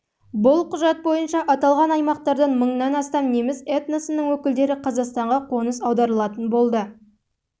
бұл құжат бойынша аталған аймақтардан мыңнан астам неміс этносының өкілдері қазақстанға қоныс аударылатын болды және құжатта